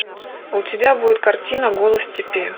у тебя будет картина голос степи